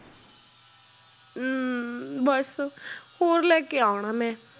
ਹਮ ਬਸ ਹੋਰ ਲੈ ਕੇ ਆਉਣਾ ਮੈਂ।